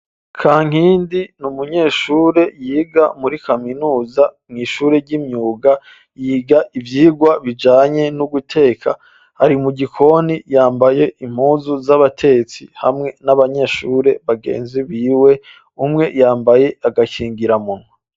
Kankindi ni umunyeshure yiga muri kaminuza mw'ishure ry'imyuga. Yiga ivyigwa bijanye no guteka. Ari mu gikoni yambaye impuzu z'abatetsi, hamwe n'abanyeshure bagenzi biwe. Umwe yambaye agakingira munwa.